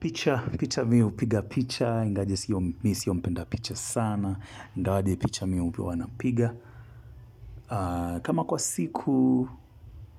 Picha, picha mimi hupiga picha, ingawaje mimi sio mpenda picha sana, ingawaje picha mimi huwa napiga. Kama kwa siku,